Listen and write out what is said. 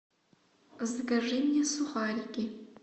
закажи мне сухарики